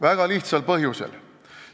Väga lihtsal põhjusel.